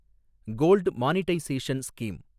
gold monetisation scheme